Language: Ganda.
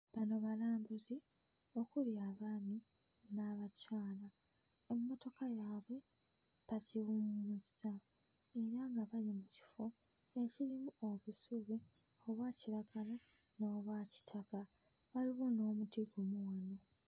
Bano balambuzi okuli abaami n'abakyala emmotoka yaabwe bagiwummuzza era nga bali mu kifo ekirimu obusubi obwa kiragala n'obwa kitaka waliwo n'omuti gumu wano.